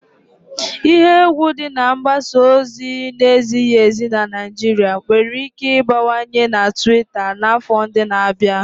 Ihe egwu dị na mgbasa ozi na-ezighi ezi na Naijiria nwere ike ịbawanye na Tuita n'afọ ndị na-abịa.